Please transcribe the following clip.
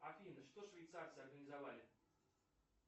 афина что швейцарцы организовали